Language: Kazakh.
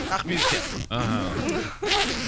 ақбибі сияқтылар аха